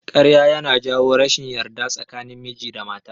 Ƙarya ya na jawo rashin yarda tsakanin miji da mata